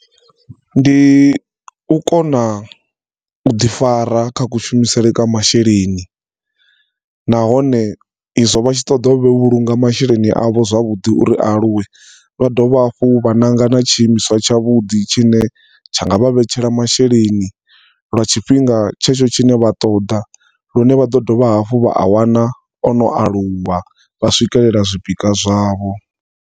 Ndi u kona u ḓi fara kha kushumisele kwa masheleni, nahone izwo vhatshi ṱoḓa u vhulunga masheleni avho zwavhuḓi uri a aluwe vha dovha hafhu vha ṋanga na tshiimiswa tshavhuḓi tshine tshanga vha vhetshela masheleni lwa tshifhinga tshetsho tshine vha ṱoḓa lune vhaḓo dovha hafhu vha awana ono aluwa vha swikelela zwipikwa zwavho.